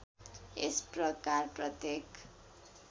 यस प्रकार प्रत्येक